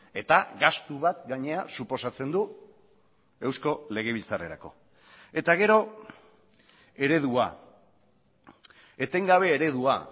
eta gastu bat gainera suposatzen du eusko legebiltzarrerako eta gero eredua etengabe eredua